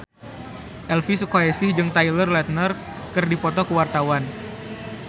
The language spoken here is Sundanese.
Elvy Sukaesih jeung Taylor Lautner keur dipoto ku wartawan